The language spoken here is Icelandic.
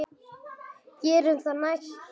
Gerum það næst.